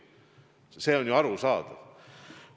See on ju arusaadav.